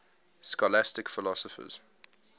scholastic philosophers